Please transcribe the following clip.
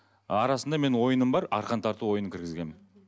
арасында менің ойыным бар арқан тарту ойынын кіргізгенмін